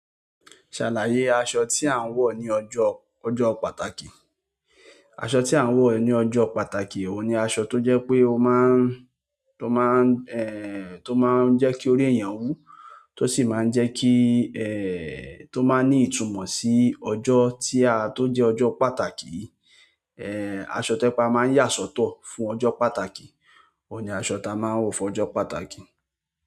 Ṣàlàyé aṣọ tí a ń wọ̀ ní ọjọ́, ọjọ́ pàtàkì. Aṣọ tí a ń wọ̀ ní ọjọ́ pàtàkì, òun ni aṣọ tó jẹ́ pé ó má ń, tó má ń, ẹ́ẹ́, tó má ń jẹ́ kí orí èèyàn wú, tó sì máa ń jẹ́ kí, ẹ́ẹ́, tó máa ń ní ìtumọ̀ sí ọjọ́ tí a tó jẹ́ ọjọ́ pàtàkì, ẹ́ẹ́, aṣọ tojepe a máa ń yà sọ́tọ̀ fún ọjọ́ pàtàkì. Òun ni aṣọ tí a máa ń wọ̀ fún ọjọ́ pàtàkì.